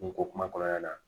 N ko kuma kɔnɔna na